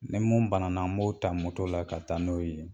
Ni mun bana n b'o ta moto la ka taa n'o ye